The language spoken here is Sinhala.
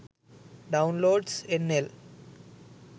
downloads nl